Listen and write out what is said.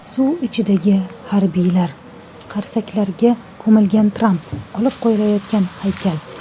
Suv ichidagi harbiylar, qarsaklarga ko‘milgan Tramp, olib qo‘yilayotgan haykal.